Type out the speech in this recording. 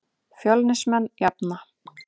Fjölnismenn jafna.